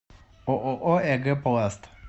ооо эгэ пласт